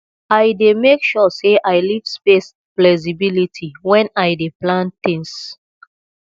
i dey make sure sey i leave space flexibility wen i dey plan tins